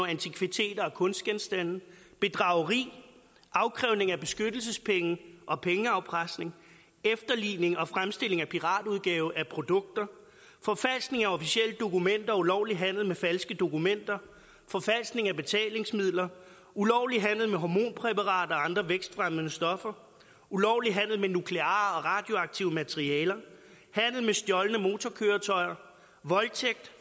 antikviteter og kunstgenstande bedrageri afkrævning af beskyttelsespenge og pengeafpresning efterligning og fremstilling af piratudgave af produkter forfalskning af officielle dokumenter og ulovlig handel med falske dokumenter forfalskning af betalingsmidler ulovlig handel med hormonpræparater og andre vækstfremmende stoffer ulovlig handel med nukleare og radioaktive materialer handel med stjålne motorkøretøjer voldtægt